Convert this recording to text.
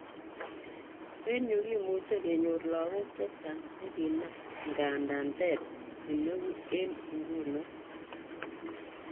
Eng yu kimuche kenyor lagok chechang chekinam, ingandan ter kitneu en iguno.